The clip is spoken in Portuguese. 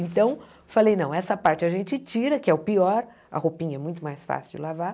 Então, falei, não, essa parte a gente tira, que é o pior, a roupinha é muito mais fácil de lavar.